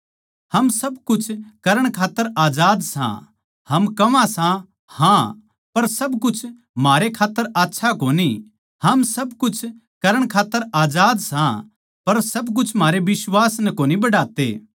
हम सब कुछ करण खात्तर आजाद सां हम कहवां सां हाँ पर सब कुछ म्हारे खात्तर आच्छा कोनी हम सब कुछ करण खात्तर आजाद सां पर सब कुछ म्हारे बिश्वास नै कोनी बढ़ाते